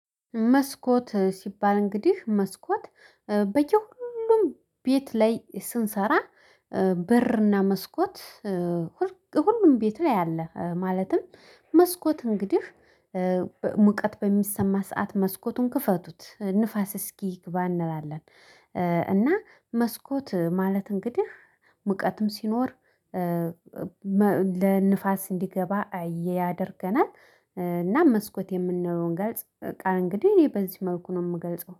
መስኮት ሲባል እንግዲህ መስኮት በየሁሉም ቤት ላይ ስንሰራ በርና መስኮት። ሁሉም ቤት ላይ አለ። ማለትም መስኮት እንግዲህ ሙቀት በሚሰማ ሰዓት መስኮቱን ክፈቱት ንፋስ እስኪ ይግባ እንላለን። እና መስኮት ማለት እንግዲህ ሙቀትም ሲኖር ለንፋስ እንዲገባ ያደርገናል። እና መስኮት የምንለውን ገልጽ ቃል እንግዲህ እኔ በዚህ መልኩ ነው የምገልጸው